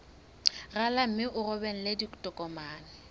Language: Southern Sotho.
rala mme o romele ditokomene